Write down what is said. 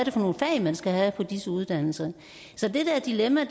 er for nogle fag man skal have på disse uddannelser så det der dilemma